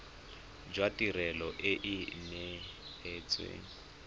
jwa tirelo e e neetsweng